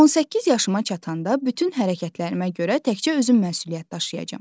18 yaşıma çatanda bütün hərəkətlərimə görə təkcə özüm məsuliyyət daşıyacağam.